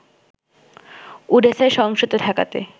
ওডেসায় সহিংসতা ঠেকাতে